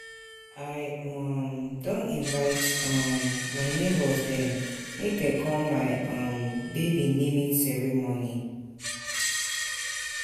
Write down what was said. I um don invite um my nebors dem make dem come come my um baby naming ceremony.